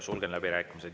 Sulgen läbirääkimised.